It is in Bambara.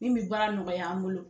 Min bi baara nɔgɔya an bolo